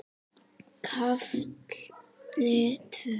KAFLI TVÖ